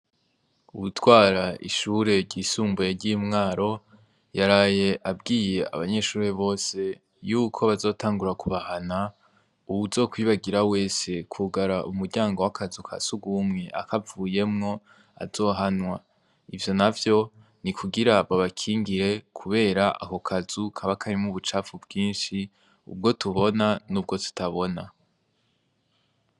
Uwutwara ishure ryisumbuye ryi mwaro yaraye abwiye abanyeshure bose yuko bazotangura kubahana uwuzokwibagira wese kugara umuryango wakazu kasugumwe akavuyemwo azohanwa ivyonavyo nikugira babakingire kubera akokazu kabakarimwo ubucafu bwinshi ubwotubona nubwo tutabona